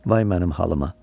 Vay mənim halıma.